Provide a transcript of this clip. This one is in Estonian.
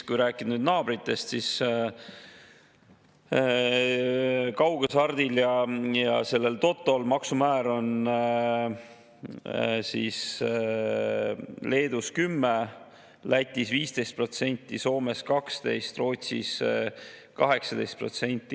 Kui rääkida naabritest, siis kaughasart ja toto maksumäär on Leedus 10%, Lätis 15%, Soomes 12%, Rootsis 18%.